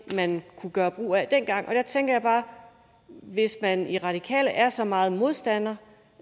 man kunne gøre brug af altså også dengang og der tænker jeg bare at hvis man i radikale venstre er så meget modstandere